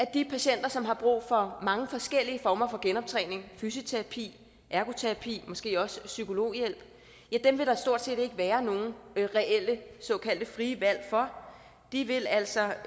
de patienter som har brug for mange forskellige former for genoptræning fysioterapi ergoterapi og måske også psykologhjælp stort set ikke vil være nogen reelle såkaldte frie valg de vil altså